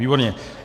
Výborně.